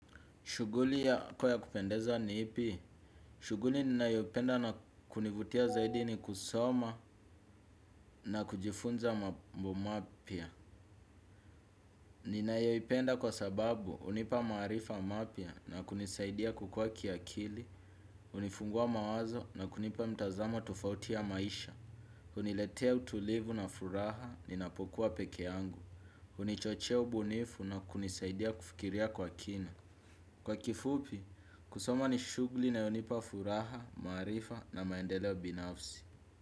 Shuguli yako ya kupendeza ni ipi? Shuguli ninayopenda na kunivutia zaidi ni kusoma na kujifunza mambo mapia. Ninayoipenda kwa sababu unipa maarifa mapya na kunisaidia kukuwa kiakili. Unifungua mawazo na kunipa mtazamo tofauti ya maisha. Uniletea utulivu na furaha ninapokuwa peke yangu. Unichochea ubunifu na kunisaidia kufikiria kwa kina. Kwa kifupi, kusoma ni shugli inayonipa furaha, maarifa na maendeleo binafsi.